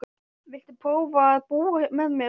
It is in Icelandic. Viltu prófa að búa með mér.